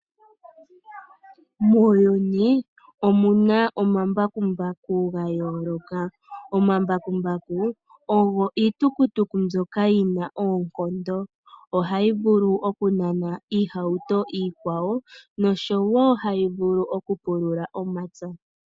Muuyuni omuna omambakumbaku gayooloka . Omambakumbaku ogo iitukutuku mbyoka yina oonkondo . Ohayi vulu okunana iihauto iikwawo noshowoo hayi vulu okupulula omapya.